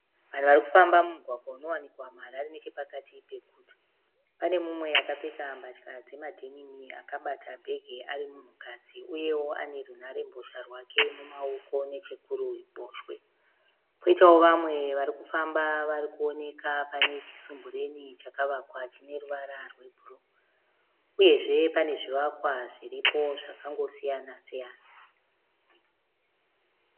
Vanhu vari kufamba mumugwagwa unowanikwa muHarare nechepakati peguta. Pane mumwe akapfeka mbatya dzemadhenimi akabata bhegi ari munhukadzi uyewo ane runharembozha rwake mumaoko nechekuruboshwe. Kwoitawo vamwe vari kufamba vari kuoneka pane chisumbureni chakavakwa chine ruvara rwebhuruu uyezve pane zvivakwa zviripo zvakangosiyanasiyana.